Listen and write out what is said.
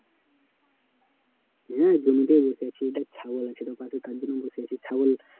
হ্যাঁ জমিতেই বসে আছি দেখ ছাগল আছে তো পাশে তার জন্য বসে আছি ছাগল